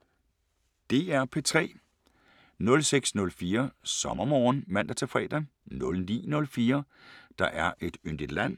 DR P3